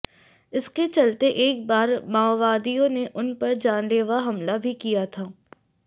इसके चलते एक बार माओवादियों ने उन पर जानलेवा हमला भी किया था